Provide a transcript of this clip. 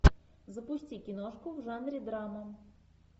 запусти киношку в жанре драма